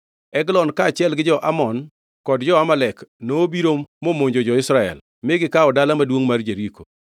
Eglon kaachiel gi jo-Amon kod jo-Amalek, nobiro momonjo jo-Israel, mi gikawo Dala Maduongʼ mar Jeriko. + 3:13 Ma bende iluongo ni Dala Maduongʼ mar Othidhe.